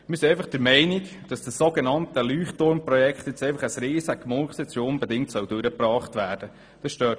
Wir sind einfach der Meinung, das so genannte Leuchtturmprojekt sei ein riesiger Murks, der unbedingt durchgebracht werden soll.